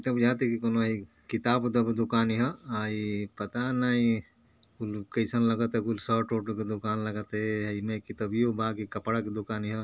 इ त बुझाता कि कोनो हयी किताब उताब के दूकान ह पता नही कुल कईसन लगत ह कुल शर्ट वर्ट के दुकान लगत है कि यही में किताबियो कि कपड़ा के दुकान ह।